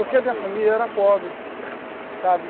Porque a minha família era pobre, sabe?